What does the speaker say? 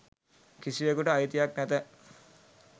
කිසිවෙකුට අයිතියක් නැත